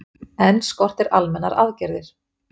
Enn skortir almennar aðgerðir